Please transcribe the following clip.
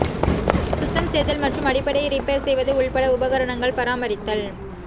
சுத்தம் செய்தல் மற்றும் அடிப்படை ரிப்பேர் செய்வது உட்பட உபகரணங்கள் பராமரித்தல்